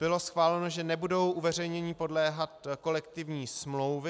Bylo schváleno, že nebudou uveřejnění podléhat kolektivní smlouvy.